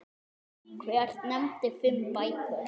Hver nefndi fimm bækur.